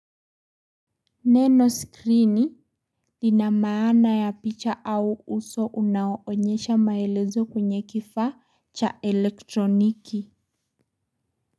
Neno skrini lina maana ya picha au uso unaoonyesha maelezo kwenye kifaa cha elektroniki.